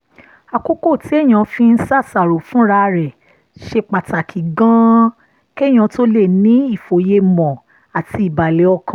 àkókò téèyàn fi ń ṣàṣàrò fúnra rẹ̀ ṣe pàtàkì gan-an kéèyàn tó lè ní ìfòyemọ̀ àti ìbàlẹ̀ ọkàn